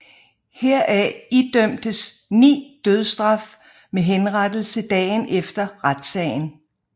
Heraf idømtes ni dødsstraf med henrettelse dagen efter retssagen